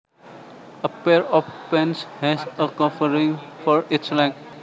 A pair of pants has a covering for each leg